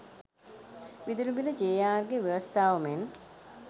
විදුලි බිල ජේ.ආර්.ගේ ව්‍යවස්ථාව මෙන්